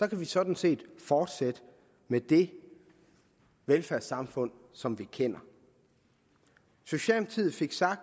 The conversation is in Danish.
kan vi sådan set fortsætte med det velfærdssamfund som vi kender socialdemokratiet fik